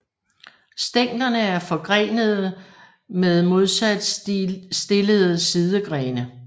Stænglerne er forgrenede med modsat stillede sidegrene